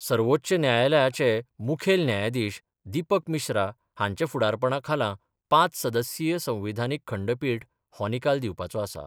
सर्वोच्च न्यायालयाचे मुखेल न्यायाधिश दिपक मिश्रा हांच्या फुडारपणा खाला पांच सदस्यीय संविधानीक खंडपिठ हो निकाल दिवपाचो आसा.